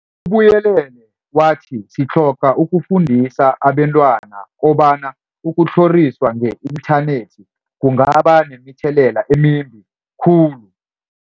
Ubuyelele wathi, sitlhoga ukufundisa abentwana kobana ukutlhoriswa nge-inthanethi kungaba nemithelela emimbi khulu.